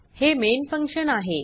हे main function आहे